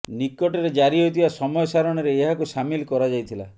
ନିକଟରେ ଜାରି ହୋଇଥିବା ସମୟ ସାରଣୀରେ ଏହାକୁ ସାମିଲ କରାଯାଇଥିଲା